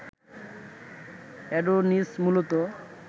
Adonis মূলত